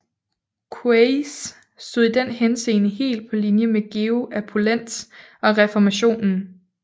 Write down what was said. Queis stod i den henseende helt på linje med Georg af Polentz og reformationen